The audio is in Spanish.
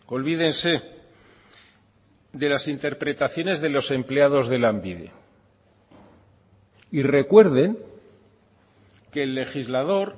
olvídense de las interpretaciones de los empleados de lanbide y recuerden que el legislador